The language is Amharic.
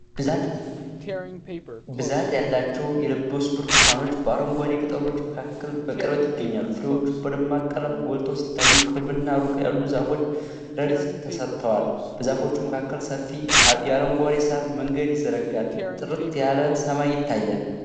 ብዛት ያላቸው የበሰሉ ብርቱካኖች በአረንጓዴ ቅጠሎች መካከል በቅርበት ይገኛሉ። ፍሬዎቹ በደማቅ ቀለም ጎልተው ሲታዩ፣ ቅርብና ሩቅ ያሉት ዛፎች ረድፍ ተሰርተዋል። በዛፎቹ መካከል ሰፊ የአረንጓዴ ሳር መንገድ ይዘረጋል። ጥርት ያለ ሰማይ ይታያል።